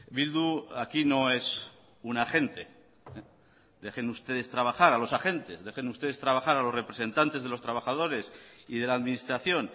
bildu aquí no es un agente dejen ustedes trabajar a los agentes dejen ustedes trabajar a los representantes de los trabajadores y de la administración